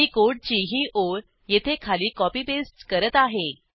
मी कोडची ही ओळ येथे खाली कॉपी पेस्ट करत आहे